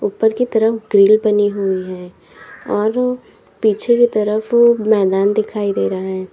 ऊपर की तरफ ग्रिले बनी हुई है और पीछे की तरफ मैदान दिखाई दे रहा है।